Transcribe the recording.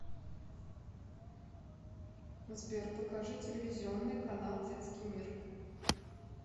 сбер покажи телевизионный канал детский мир